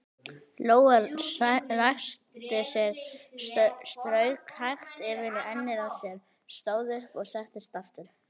Lóa ræskti sig, strauk hægt yfir ennið á sér, stóð upp og settist aftur.